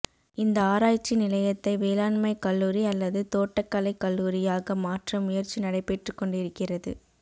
இந்த ஆராய்ச்சி நிலையத்தை வேளாண்மைக்கல்லூரி அல்லது தோட்டக்கலைக் கல்லூரியாக மாற்ற முயற்சி நடைபெற்றுக் கொண்டுஇருக்கிறது